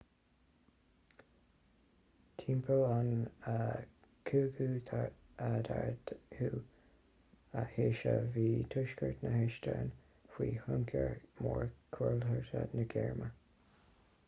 timpeall na 15ú haoise bhí tuaisceart na heastóine faoi thionchar mór cultúrtha na gearmáine